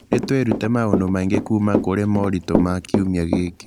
Nĩ twĩrutire maũndũ maingĩ kuuma kũrĩ moritũ ma kiumia gĩkĩ